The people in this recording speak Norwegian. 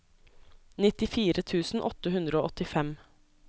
nittifire tusen åtte hundre og åttifem